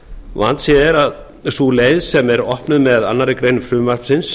vandséð er að sú leið sem er opnuð með annarri grein frumvarpsins